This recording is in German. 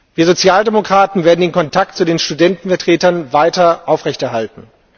Wir Sozialdemokraten werden den Kontakt zu den Studentenvertretern weiter aufrechterhalten.